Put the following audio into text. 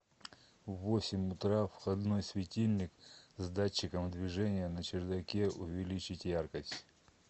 в восемь утра входной светильник с датчиком движения на чердаке увеличить яркость